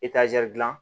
dilan